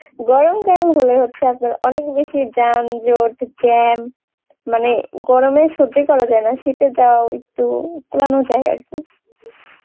গরম কাল হলে হচ্ছে আপনার অনেক বেশি যান জট Jam মানে গরমে সহ্য করা যায়না শীতে যা একটু কুলানো যায় আরকি